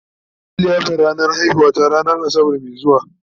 za'a Yi liyafar ranar haihuwar ta ranan asabar Mai zuwa